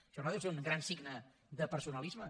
això no deu ser un gran signe de personalisme